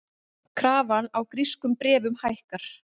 Krafan á grískum bréfum hækkar